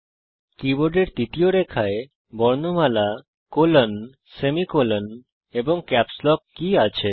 কীবোর্ডের তৃতীয় রেখায় বর্ণমালাcolon সেমিকোলন এবং ক্যাপস লক কী আছে